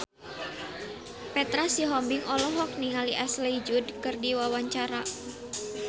Petra Sihombing olohok ningali Ashley Judd keur diwawancara